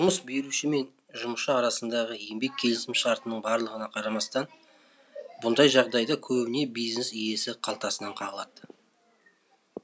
жұмыс беруші мен жұмысшы арасындағы еңбек келісім шартының барлығына қарамастан мұндай жағдайда көбіне бизнес иесі қалтасынан қағылады